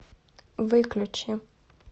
выключи